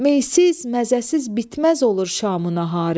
Meysiz, məzəsiz bitməz olur şamın naharım.